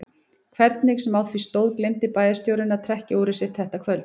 Hvernig sem á því stóð gleymdi bæjarstjórinn að trekkja úrið sitt þetta kvöld.